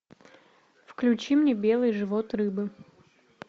включи мне белый живот рыбы